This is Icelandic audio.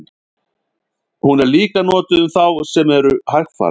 Hún er líka notuð um þá sem eru hægfara.